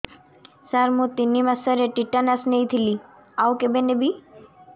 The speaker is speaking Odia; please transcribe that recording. ସାର ମୁ ତିନି ମାସରେ ଟିଟାନସ ନେଇଥିଲି ଆଉ କେବେ ନେବି